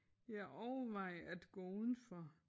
Jeg overvejer at gå udenfor